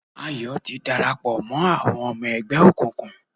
Ayọ̀ ti darapọ̀ mọ́ àwọn ọmọ ẹgbẹ́ òkùnkùn